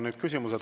Nüüd küsimused.